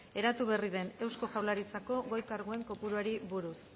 eratu berria den eusko jaurlaritzako goi karguen kopuruari buruz